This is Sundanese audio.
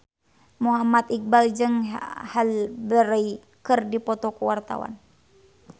Muhammad Iqbal jeung Halle Berry keur dipoto ku wartawan